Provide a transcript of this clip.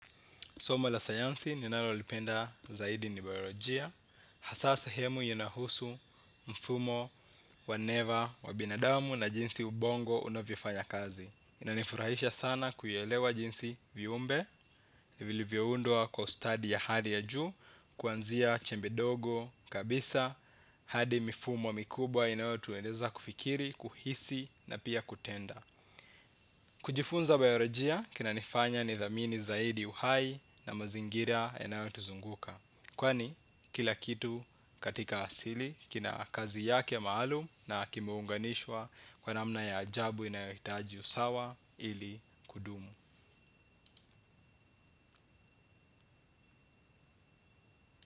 Soma la sayansi ninalolipenda zaidi ni biolojia. Hasa sehemu inahusu mfumo wa neva wa binadamu na jinsi ubongo unavyofanya kazi. Inanifurahisha sana kuyaelewa jinsi viumbe ni vilivyoundwa kwa ustadi ya hali ya juu. Kuanzia chembe dogo kabisa hadi mifumo mikubwa inayotueneza kufikiri, kuhisi na pia kutenda. Kujifunza biolojia kinanifanya nithamini zaidi uhai na mazingira yanayotuzunguka. Kwani kila kitu katika asili kina kazi yake maalum na kimeunganishwa kwa namna ya ajabu inayohtaji usawa ili kudumu.